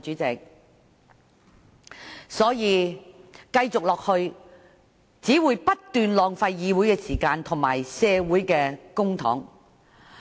這樣下去，只會不斷浪費議會時間及公帑。